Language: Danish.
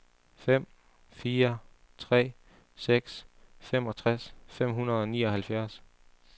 fem fire tre seks femogtres fem hundrede og nioghalvfems